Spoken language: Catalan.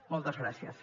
moltes gràcies